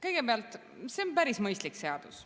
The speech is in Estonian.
Kõigepealt, see on päris mõistlik seadus.